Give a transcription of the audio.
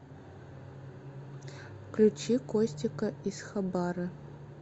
включи костика изхабарэ